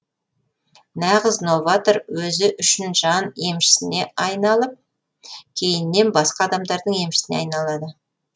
нағыз новатор өзі үшін жан емшісіне айналып кейіннен басқа адамдардың емшісіне айналады